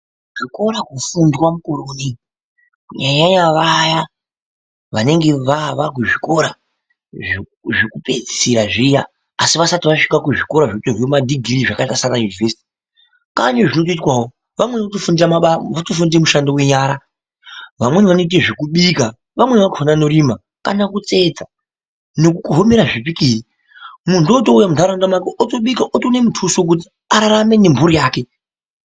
Zvikora kufundwa mukore unoini kunyanyanya vaya vanenge vakuzvikora zvekupedzisira zviya asi vasati vasvike kuzvikora zvinotorwa madhigirii zvakaita saanaYunivesiti kwaane zvinotoitwawo vamweni votofundira mushando wenyara vamweni vanoite zvekubika vamweni vakona vanorima kana kutsetsa nekukohemera zvipikiri muntu otouya munharaunda make otobika otoone mutuso ngokuti ararame nemhuri yake.